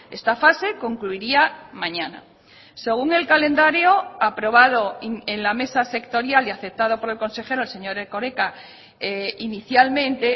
esta fase concluiría mañana según el calendario aprobado en la mesa sectorial y aceptado por el consejero el señor erkoreka inicialmente